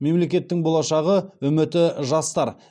мемлекеттің болашағы үміті жастар